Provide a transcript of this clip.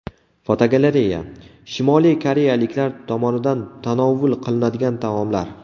Fotogalereya: Shimoliy koreyaliklar tomonidan tanovul qilinadigan taomlar.